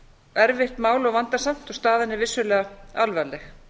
erfitt mál og vandasamt og staðan er vissulega alvarleg